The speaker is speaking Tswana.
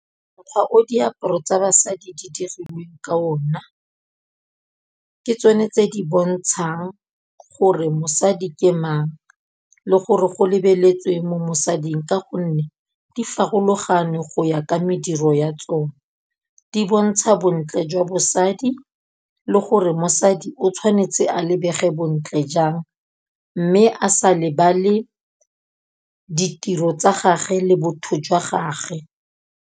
Mokgwa o diaparo tsa basadi di dirilweng ka ona, ke tsone tse di bontshang gore mosadi ke mang le gore go lebeletsweng mo mosading ka gonne, di farologane go ya ka mediro ya tsone. Di bontsha bontle jwa bosadi le gore mosadi o tshwanetse a lebege bontle jang, mme a sa lebale ditiro tsa gage le botho jwa gage.